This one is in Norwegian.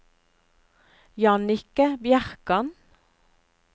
Jannicke Bjerkan